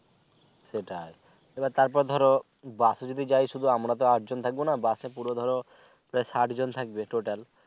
সেটাই এবার তারপরে ধোরো busএ যদি যাই শুধু আমরা তো আট জন থাকব না busএ পুরো ধোরো ষাট জন থাকবে Total